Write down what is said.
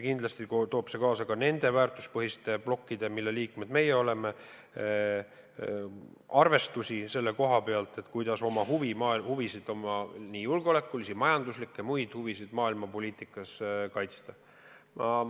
Kindlasti toob see kaasa ka seda, et need väärtuspõhised blokid, mille liikmed me oleme, peavad arvestama, kuidas oma huvisid – nii julgeolekulisi, majanduslikke kui ka muid huvisid – maailmapoliitikas kaitsta.